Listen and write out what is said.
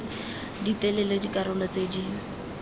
di telele dikarolo tse di